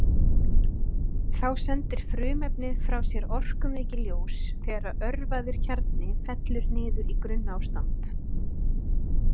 Þá sendir frumefnið frá sér orkumikið ljós þegar örvaður kjarni fellur niður í grunnástand.